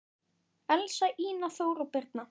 Elsa, Ína, Þóra og Birna.